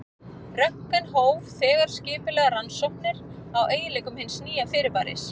Röntgen hóf þegar skipulegar rannsóknir á eiginleikum hins nýja fyrirbæris.